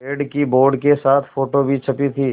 पेड़ की बोर्ड के साथ फ़ोटो भी छपी थी